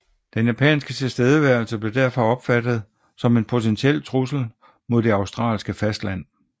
Den japanske tilstedeværelse blev derfor opfattet som en potentiel trussel mod det australske fastland